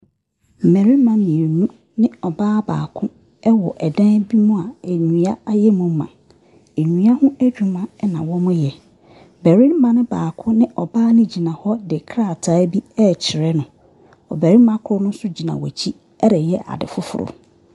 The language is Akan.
Mmarima mmienu ne ɔbaa baako wɔ dan bi mu a nnua ayɛ mu ma. Nnua ho adwuma na wɔyɛ. Barima no baako ne ɔbaa no gyina hɔ de krataa bi rekyerɛ no. Ɔbarima koro no nso gyina wɔn akyi reyɛ ade foforɔ.